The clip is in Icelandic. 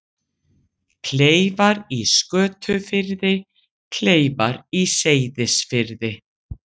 Kleifar í Skötufirði, Kleifar í Seyðisfirði.